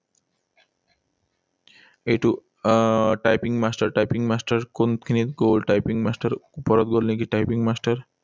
এইটো আহ typing master, typing master, কোনখিনিত গল typing master? ওপৰত গল নেকি typing master?